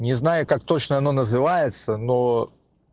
не знаю как точно оно называется но